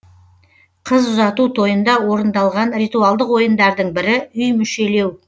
қыз ұзату тойында орындалған ритуалдық ойындардың бірі үй мүшелеу